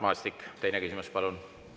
Mart Maastik, teine küsimus, palun!